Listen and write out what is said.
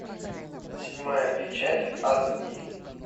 седьмая печать аш ди